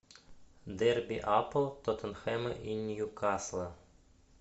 дерби апл тоттенхэма и ньюкасла